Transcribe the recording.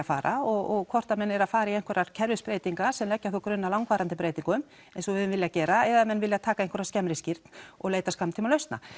fara og hvort menn eru að fara í einhverjar kerfisbreytingar sem leggja þá grunn að langvarandi breytingum eins og við höfum viljað gera eða menn vilja taka einhverja skemmri skírn og leita skammtíma lausna